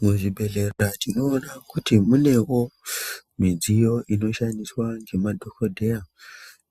Muzvibhedhlera tinoona kuti munewo mudziyo inoshandiswa nemadhokodheya